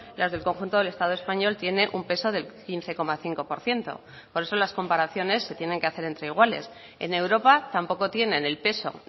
las del conjunto del estado español tiene un peso del quince coma cinco por ciento por eso las comparaciones se tienen que hacer entre iguales en europa tampoco tienen el peso